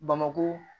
Bamakɔ